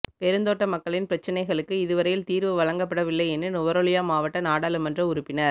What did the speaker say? பெருந்தோட்ட மக்களின் பிரச்சினைகளுக்கு இதுவரையில் தீர்வு வழங்கப்படவில்லை என நுவரெலியா மாவட்ட நாடாளுமன்ற உறுப்பினர்